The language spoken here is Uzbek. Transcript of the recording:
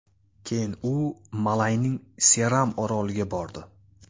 Keyin u Malayning Seram oroliga bordi.